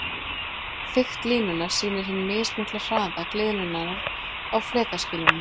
Þykkt línunnar sýnir hinn mismikla hraða gliðnunarinnar á flekaskilunum.